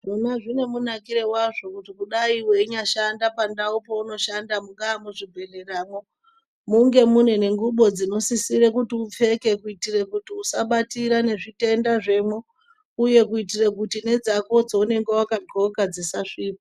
Zvona zvine munakiro wazvo kuti dai weinyashanda pandau paunoshanda mungaa muzvibhedhleramwo munge mune ngubo dzinosisire kuti upfeke kuitira kuti usabatira nezvitenda zvemwo uye kuitira kuti nedzako dzounenge wakadxoka dzisasvipa.